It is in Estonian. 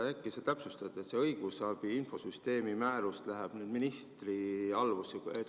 Äkki sa täpsustad seda, et õigusabi infosüsteemi määrus läheb nüüd ministri alluvusse.